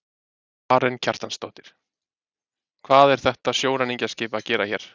Karen Kjartansdóttir: Hvað er þetta sjóræningjaskip að gera hérna?